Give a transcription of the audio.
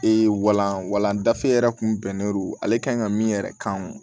walan walanda yɛrɛ tun bɛnnen don ale kan ka min yɛrɛ kan